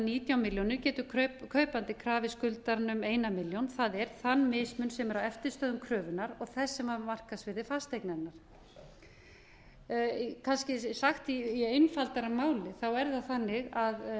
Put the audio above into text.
nítján milljónir getur kaupandi krafið skuldarann um eina milljón það er þann mismun sem er á eftirstöðvum kröfunnar og þær sem var markaðsvirði fasteignarinnar kannski sagt í einfaldara máli er það þannig að